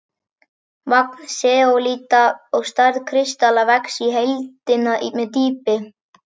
Magn seólíta og stærð kristalla vex í heildina með dýpi.